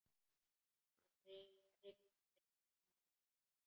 Hann rignir, sagði hann.